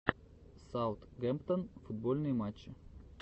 саутгемптон футбольные матчи